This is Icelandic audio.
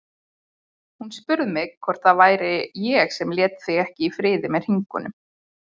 Hún spurði hvort það væri ég sem léti þig ekki í friði með hringingum.